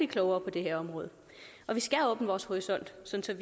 klogere på det her område og vi skal åbne vores horisont sådan